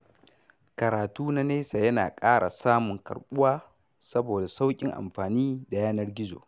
Karatu na nesa yana ƙara samun karɓuwa saboda sauƙin amfani da yanar gizo.